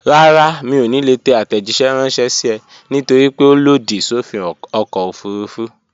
Rárá, mi ò ní lè tẹ àtẹ̀jíṣẹ́ ránṣẹ́ sí ẹ nítorípé ó lòdì sófin ọkọ̀ òfurufú